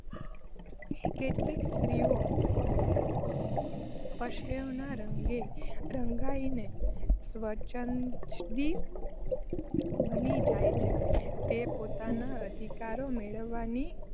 કેટલીક સ્ત્રીઓ પશ્ચિમના રંગે રંગાઈને સ્વછંદી બની જાય છે. તે પોતાના અધિકારો મેળવવાની